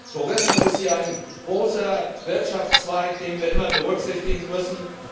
Tourismus ist ein großer Wirtschaftszweig, den wir immer berücksichtigen müssen.